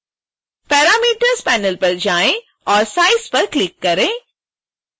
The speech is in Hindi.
parameters panel पर जाएँ और size पर क्लिक करें